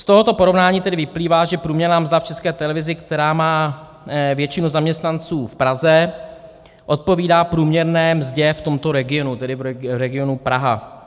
Z tohoto porovnání tedy vyplývá, že průměrná mzda v České televizi, kterou má většinu zaměstnanců v Praze, odpovídá průměrné mzdě v tomto regionu, tedy v regionu Praha.